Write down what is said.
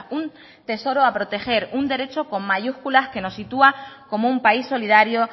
un tesoro a proteger un derecho con mayúsculas que nos sitúa como un país solidario